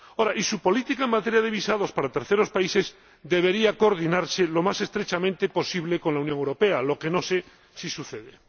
Y su política en materia de visados para terceros países debería coordinarse lo más estrechamente posible con la Unión Europea, lo que no sé si sucede.